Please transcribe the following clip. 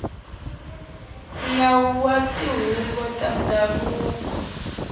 nawu wa tihuvo ta ndhavuko